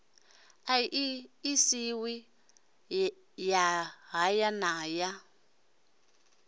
aḓirese ya haya na ya